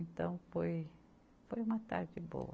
Então, foi, foi uma tarde boa.